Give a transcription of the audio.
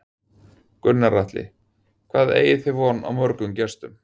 Gunnar Atli: Hvað eigið þið von á mörgum gestum?